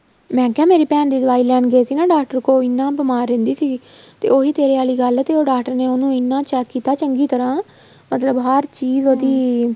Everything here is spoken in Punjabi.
ਮੈਂ ਕਿਹਾ ਮੇਰੀ ਭੈਣ ਦੀ ਦਵਾਈ ਲੈਣ ਗਏ ਸੀ ਨਾ ਡਾਕਟਰ ਕੋਲ ਇੰਨਾ ਬੀਮਾਰ ਰਹਿੰਦੀ ਸੀ ਤੇ ਉਹੀ ਤੇਰੇ ਆਲੀ ਗੱਲ ਤੇ ਉਹ ਡਾਕਟਰ ਨੇ ਉਹਨੂੰ ਇੰਨਾ check ਕੀਤਾ ਚੰਗੀ ਤਰ੍ਹਾਂ ਮਤਲਬ ਹਰ ਚੀਜ਼ ਉਹਦੀ